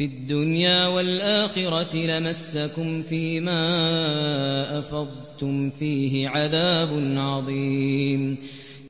الدُّنْيَا وَالْآخِرَةِ لَمَسَّكُمْ فِي مَا أَفَضْتُمْ فِيهِ عَذَابٌ عَظِيمٌ